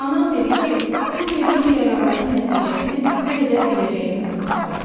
Anam dedi ki, bu verdiyim qərarların nəticəsini nə qədər biləcəyimdən asılıdır.